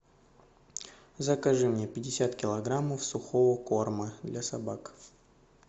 закажи мне пятьдесят килограммов сухого корма для собак